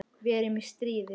Við erum í stríði.